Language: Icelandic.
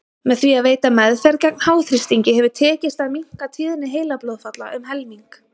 Með því að veita meðferð gegn háþrýstingi hefur tekist að minnka tíðni heilablóðfalla um helming.